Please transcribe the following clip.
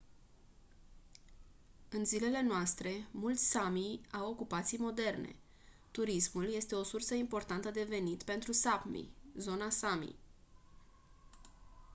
în zilele noastre mulți sámi au ocupații moderne. turismul este o sursă importantă de venit pentru sápmi zona sámi